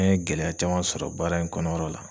An ye gɛlɛya caman sɔrɔ baara in kɔnɔyɔrɔ la.